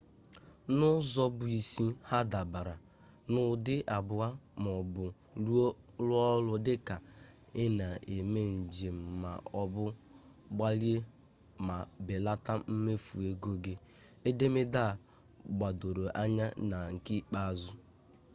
n'ụzọ bụ isi ha dabara n'ụdị abụọ ma ọ bụ rụọ ọrụ dị ka ị na-eme njem ma ọ bụ gbalie ma belata mmefu ego gị edemede a gbadoro anya na nke ikpeazụ